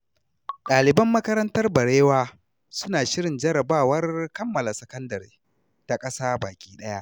Ɗaliban makarantar Barewa suna shirin jarrabawar kammala sakandare ta ƙasa baki ɗaya.